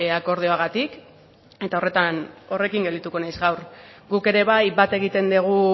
akordioagatik eta horretan horrekin geldituko naiz gaur guk ere bai bat egiten dugu